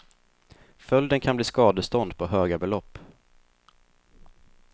Följden kan bli skadestånd på höga belopp.